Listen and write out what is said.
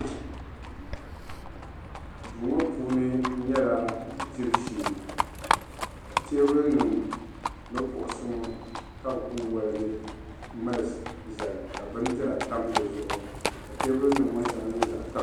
Duu ŋɔ puuni nyɛla dibu shee ka teebulinima ni kuɣisi ŋɔ ka be kuli waligi mali zali ka bindira tam di zuɣu ka teebulinima ŋɔ shɛŋa nyɛ zaɣ'tan.